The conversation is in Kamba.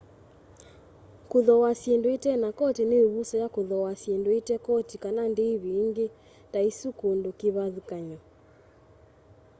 kuthooa syindu itena koti ni ivuso ya kuthooa syindu ite koti kana ndivi ingi ta isu kundu kivathukany'o